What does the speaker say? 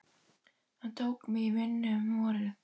Hann tók mig í vinnu um vorið.